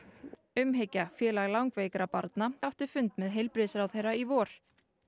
umhyggja félag langveikra barna átti fund með heilbrigðisráðherra í vor